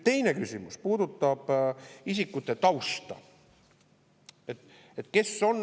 Teine küsimus puudutab isikute tausta.